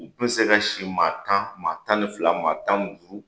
U kun bɛ se ka si maa tan , maa tan ni fila, maa tan ni duuru!